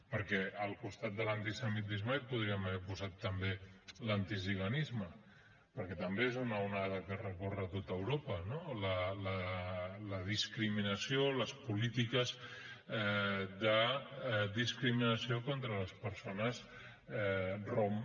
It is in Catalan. perquè al costat de l’antisemitisme hi podíem haver posat també l’antiziganisme perquè també és una onada que recorre tot europa no la discriminació les polítiques de discriminació contra les persones rom